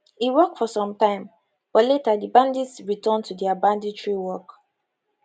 e work for some time but later di bandits return to dia banditry work